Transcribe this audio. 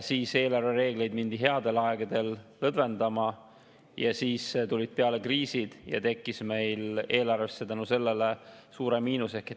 Eelarvereegleid mindi headel aegadel lõdvendama, siis tulid peale kriisid ja meil tekkis eelarvesse selle tõttu suurem miinus.